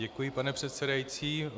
Děkuji, pane předsedající.